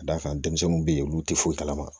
Ka d'a kan denmisɛnninw be yen olu ti foyi kalama